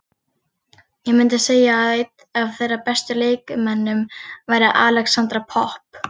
Ég myndi segja að einn af þeirra bestu leikmönnum væri Alexandra Popp.